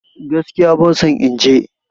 Gaskiya ban son in je